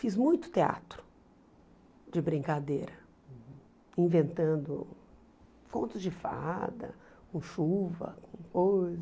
Fiz muito teatro de brincadeira, inventando contos de fada, com chuva, com coisa.